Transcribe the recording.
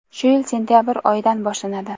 shu yil sentyabr oyidan boshlanadi.